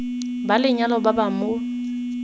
ba lenyalo ba ba mo